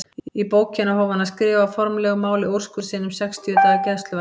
Í bókina hóf hann að skrifa á formlegu máli úrskurð sinn um sextíu daga gæsluvarðhald.